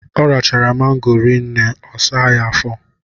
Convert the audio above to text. Ọ rachara mango rinne ọ saa ya afọ.